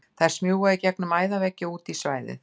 Þær smjúga í gegnum æðaveggi og út í svæðið.